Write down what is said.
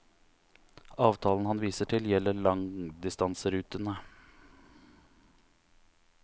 Avtalen han viser til, gjelder langdistanserutene.